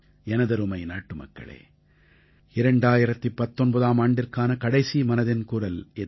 எனதருமை நாட்டுமக்களே 2019ஆம் ஆண்டிற்கான கடைசி மனதின் குரல் இது